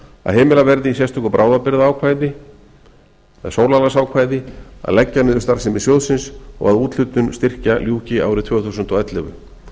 að heimilað verði í sérstöku bráðabirgðaákvæði eða sólarlagsákvæði að leggja niður starfsemi sjóðsins og að úthlutun styrkja ljúki árið tvö þúsund og ellefu